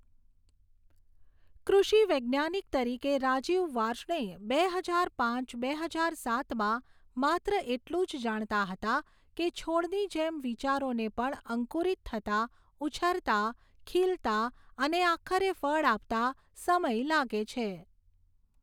કૃષિ વૈજ્ઞાનિક તરીકે, રાજીવ વાર્ષ્ણેય બે હજાર પાંચ બે હજાર સાતમાં માત્ર એટલું જ જાણતા હતા કે છોડની જેમ વિચારોને પણ અંકુરિત થતાં, ઉછરતાં, ખીલતાં અને આખરે ફળ આપતાં સમય લાગે છે.